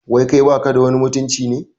Wai kai baka da wani mutunci ne?